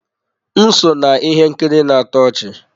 M so na ihe nkiri na-atọ ọchị.